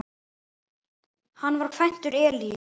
Hann var kvæntur Elínu